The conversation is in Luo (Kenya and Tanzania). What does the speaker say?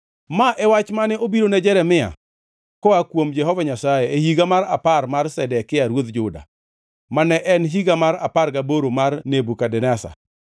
Ma e wach mane obirone Jeremia koa kuom Jehova Nyasaye e higa mar apar mar Zedekia ruodh Juda, ma ne en higa mar apar gaboro mar Nebukadneza.